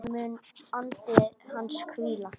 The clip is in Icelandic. Þar mun andi hans hvíla.